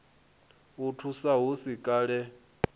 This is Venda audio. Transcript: i thusa hu si kale